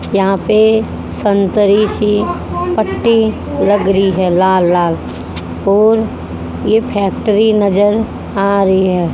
यहां पे संतरी सी पट्टी लग री है लाल लाल और ये फैक्ट्री नजर आ रही है।